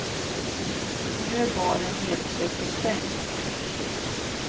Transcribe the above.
Nu är baren nedsläckt och stängd.